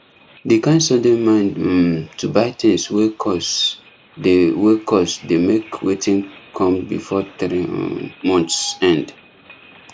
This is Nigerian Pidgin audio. the kind sudden mind um to buy things wey cost dey wey cost dey make wetin come before three um months end